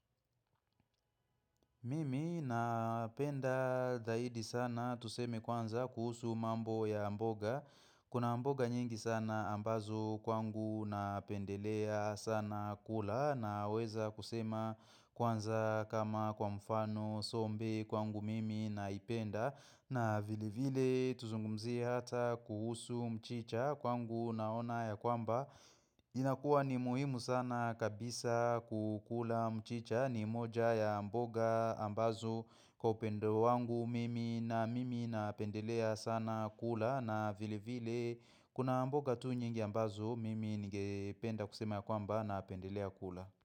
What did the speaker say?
Mimi napenda dhahidi sana tuseme kwanza kuhusu mambo ya mboga Kuna mboga nyingi sana ambazo kwangu napendelea sana kula na weza kusema kwanza kama kwa mfano sombe kwangu mimi naipenda na vile vile tuzungumzie hata kuhusu mchicha kwangu naona ya kwamba jina kuwa ni muhimu sana kabisa kukula mchicha ni moja ya mboga ambazo kwa upendo wangu mimi na mimi napendelea sana kula na vile vile kuna mboga tu nyingi ambazo mimi nige penda kusema ya kwamba napendelea kula.